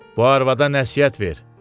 Bu arvada nəsihət ver.